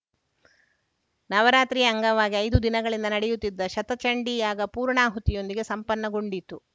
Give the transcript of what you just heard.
ನವರಾತ್ರಿಯ ಅಂಗವಾಗಿ ಐದು ದಿನಗಳಿಂದ ನಡೆಯುತ್ತಿದ್ದ ಶತಚಂಡೀಯಾಗ ಪೂರ್ಣಾಹುತಿಯೊಂದಿಗೆ ಸಂಪನ್ನಗೊಂಡಿತು